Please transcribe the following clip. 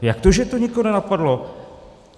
Jak to, že to nikoho nenapadlo?